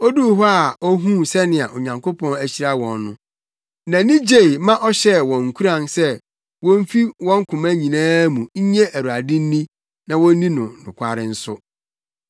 Oduu hɔ a ohuu sɛnea Onyankopɔn ahyira wɔn no, nʼani gye ma ɔhyɛɛ wɔn nkuran se womfi wɔn koma nyinaa mu nnye Awurade nni na wonni no nokware nso.